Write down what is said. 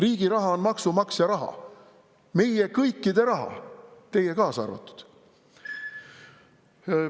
Riigi raha on maksumaksja raha, meie kõikide raha, teie kaasa arvatud.